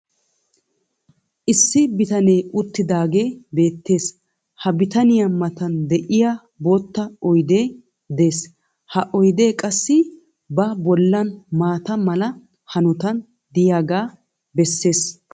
issi bitanee uttidaagee beetees. ha bitanniya matan diya bootta oydee des. ha oydee qassi ba bolan maata mala hanotan diyaaga besees.